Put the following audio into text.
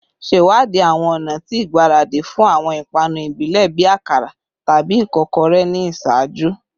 Ṣewadii awọn ọna ti igbaradi fun awọn ipanu ibile bii akara tabi ikokore ni iṣaaju